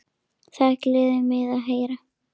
Það gleður mig að heyra.